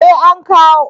Eh an kawo